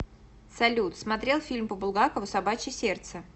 салют смотрел фильм по булгакову собачье сердце